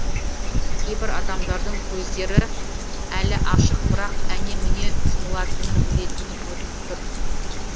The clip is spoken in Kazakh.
кейбір адамдардың көздері әлі ашық бірақ әне міне жұмылатыны өлетіні көрініп тұр